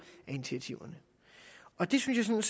af initiativerne og det synes jeg